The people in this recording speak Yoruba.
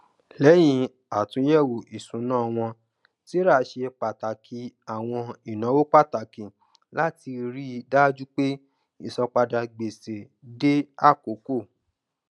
lẹyìn àtúnyẹwò isúnà wọn sarah ṣe pàtàkì àwọn ináwó pàtàkì láti rí i dájú pé ìsanpadà gbèsè dé àkókò